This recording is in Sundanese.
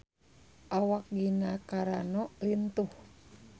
Awak Gina Carano lintuh